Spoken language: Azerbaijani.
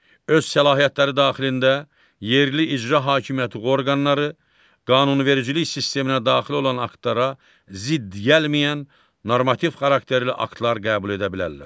Öz səlahiyyətləri daxilində yerli icra hakimiyyəti orqanları qanunvericilik sisteminə daxil olan aktlara zidd gəlməyən normativ xarakterli aktlar qəbul edə bilərlər.